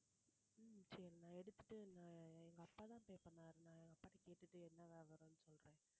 சரி நான் எடுத்துட்டு எங்க அப்பாதான் pay பண்ணாரு நான் எங்க அப்பாகிட்ட கேட்டுட்டு என்ன விவரம் சொல்றேன்